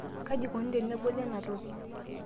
kaji ikoni teneboli ena toki?